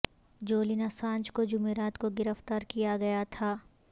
Julian Assange کو جمعرات کو گرفتار کیا گیا تھا